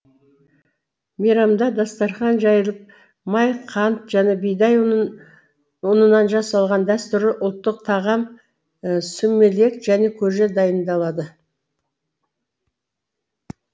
мейрамда дастархан жайылып май қант және бидай ұнынан жасалған дәстүрлі ұлттық тағам сумелек және көже дайындалады